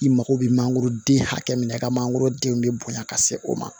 I mago bɛ mangoro den hakɛ min na i ka mangoro den bɛ bonya ka se o ma